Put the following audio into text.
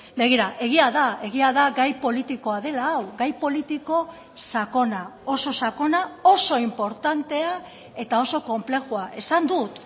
begira egia da egia da gai politikoa dela gai politiko sakona oso sakona oso inportantea eta oso konplexua esan dut